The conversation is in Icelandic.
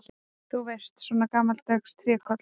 Þú veist, svona gamaldags trékolla.